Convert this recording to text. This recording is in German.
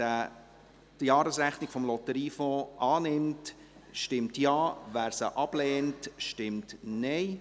Wer die Jahresrechnung des Lotteriefonds annimmt, stimmt Ja, wer diese ablehnt, stimmt Nein.